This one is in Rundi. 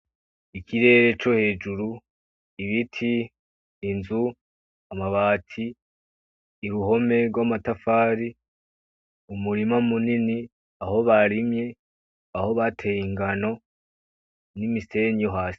Ikirere co hejuru, ibiti, inzu, amabati, uruhome rw'amatafari, umurima munini, aho barimye, aho bateye ingano n'imisenyi yo hasi.